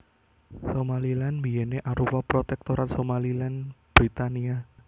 Somaliland biyèné arupa Protektorat Somaliland Britania